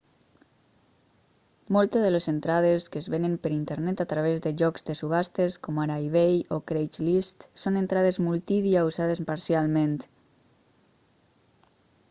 moltes de les entrades que es venen per internet a través de llocs de subhastes com ara ebay o craigslist són entrades multidia usades parcialment